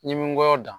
N ye n kɔyɔ dan